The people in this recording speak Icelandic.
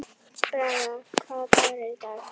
Braga, hvaða dagur er í dag?